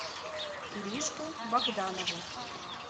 иришку богданову